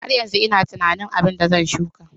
Har yanzu ina tunanin abin da zan shuka.